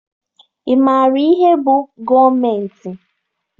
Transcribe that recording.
Ị maara ihe bụ gọọmentị?